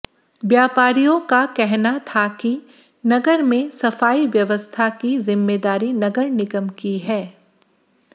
व्यापारियों का कहना था कि नगर में सफाई व्यवस्था की जिम्मेदारी नगर निगम की है